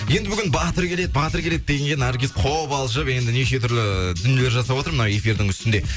енді бүгін батыр келеді батыр келеді дегенге наргиз қобалжып енді неше түрлі ііі дүниелер жасап отыр мына эфирдің үстінде